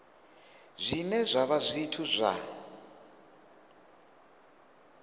zwine zwa vha zwithu zwa